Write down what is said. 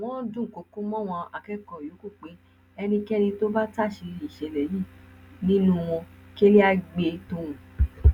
wọn dúnkookò mọwọn akẹkọọ yòókù pé ẹnikẹni tó bá táṣìírí ìṣẹlẹ yìí nínú wọn kẹlẹ àá gbé tọhún